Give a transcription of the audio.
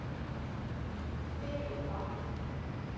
Filippa